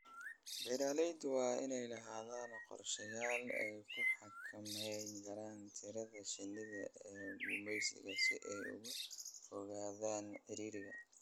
Beeralayda waa inay lahaadaan qorshayaal ay ku xakameynayaan tirada shinnida ee gumeysiga si ay uga fogaadaan ciriiriga.